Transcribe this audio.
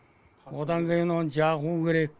одан кейін оны жағу керек